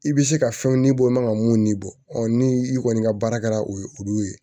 I bɛ se ka fɛnw nibɔ i man ka mun ni bɔ ɔ ni i kɔni ka baara kɛra o ye olu ye